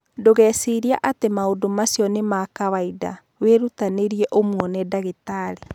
Ndũgecirie atĩ maũndũ macio nĩ ma kawaida; wĩrutanĩrie umwone ndagĩtarĩ.